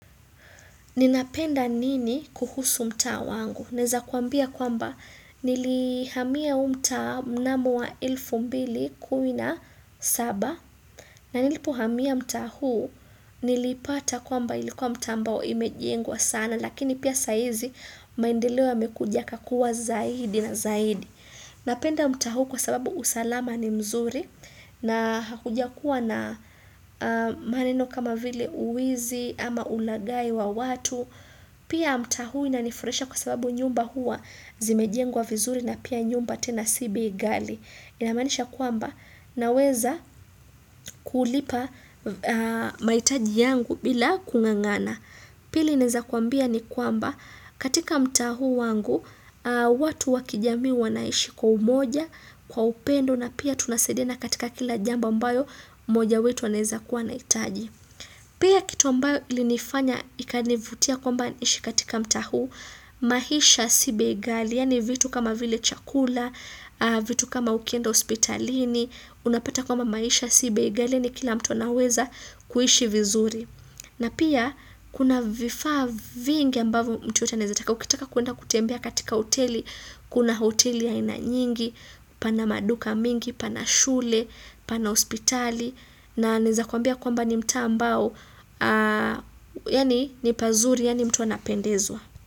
Ninapenda nini kuhusu mta wangu? Neza kuambia kwamba nilihamia huu mta mnamo wa ilfu mbili kumi na saba. Na nilipohamia mta huu nilipata kwamba ilikuwa mta mbao ime jengwa sana. Lakini pia saizi maendeleo yamekujaka kuwa zaidi na zaidi. Napenda mta huu kwa sababu usalama ni mzuri. Na hakuja kuwa na maneno kama vile uwizi ama ulagai wa watu. Pia mtaa huu inanifurasha kwa sababu nyumba hua zimejengwa vizuri na pia nyumba tena si bei gali. Inamanisha kwamba naweza kulipa maitaji yangu bila kungangana. Pili inezakuambia ni kwamba katika mta huu wangu watu wakijami wanaishi kwa umoja kwa upendo na pia tunasaidiana katika kila jambo ambayo moja wetu anezakuwa naitaji. Pia kitu ambao ili nifanya ikani vutia kwamba nishi katika mta huu, mahisha sibe gali, yani vitu kama vile chakula, vitu kama ukienda ospitalini, unapata kwamba maisha sibe gali ni kila mto naweza kuishi vizuri. Na pia, kuna vifaa vingi ambavyo mtu yote anezataka, ukitaka kuenda kutembea katika hoteli, kuna hoteli ya ina nyingi, pana maduka mingi, pana shule, pana hospitali, na nezataka ambia kwamba ni mta ambao, yani ni pazuri, yani mtu anapendezwa.